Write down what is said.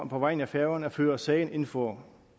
på vegne af færøerne at føre sagen ind for